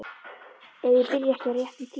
Ef ég byrja ekki á réttum tíma.